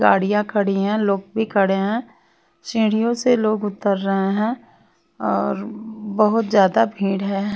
गाड़ियां खड़ी हैं लोग भी खड़े हैं सीढ़ियों से लोग उतर रहे हैं और र बहुत ज्यादा भीड़ है।